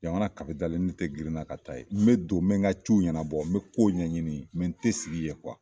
Jamana kapitali n t girinna ka taa ye n be don be n ka ciw ɲɛnabɔ n be kow ɲɛɲini mɛ n te sigi yen kuwa